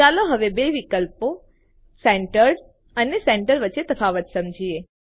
ચાલો હવે બે વિકલ્પો સેન્ટર્ડ અને સેન્ટર વચ્ચે તફાવત સમજીયે